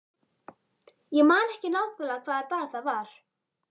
Ég man ekki nákvæmlega hvaða dag það var.